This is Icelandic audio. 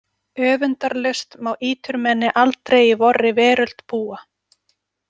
Öfundarlaust má íturmenni aldrei í vorri veröld búa.